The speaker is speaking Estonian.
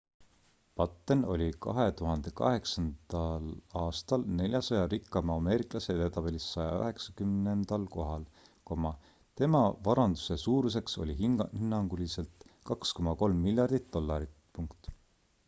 batten oli 2008 aastal 400 rikkaima ameeriklase edetabelis 190 kohal tema varanduse suuruseks oli hinnanguliselt 2,3 miljardit dollarit